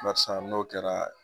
barisa n'o kɛra